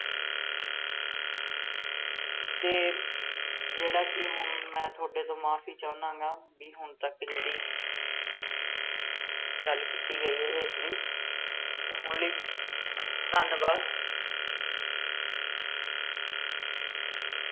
ਤੇ ਜਿਹੜਾ ਕੀ ਮੈ ਹੁਣ ਤੁਹਾਡੇ ਤੋਂ ਮੁਆਫੀ ਚਾਹੁੰਨਾ ਗਾ ਬੀ ਹੁਣ ਤਕ ਜਿਹੜੀ ਗੱਲ ਕੀਤੀ ਗਈ ਹੈ ਇਸਲਈ ਤੇ ਹੁਣ ਲਈ ਧੰਨਵਾਦ।